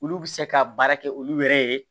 Olu bɛ se ka baara kɛ olu yɛrɛ ye